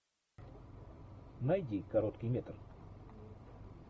найди короткий метр